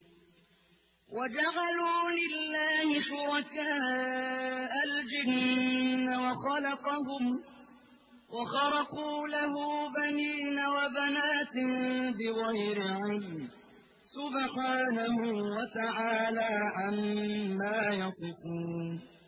وَجَعَلُوا لِلَّهِ شُرَكَاءَ الْجِنَّ وَخَلَقَهُمْ ۖ وَخَرَقُوا لَهُ بَنِينَ وَبَنَاتٍ بِغَيْرِ عِلْمٍ ۚ سُبْحَانَهُ وَتَعَالَىٰ عَمَّا يَصِفُونَ